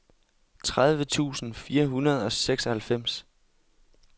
tredive tusind fire hundrede og seksoghalvfems